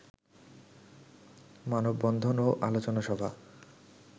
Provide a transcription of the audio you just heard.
মানববন্ধন ও আলোচনা সভা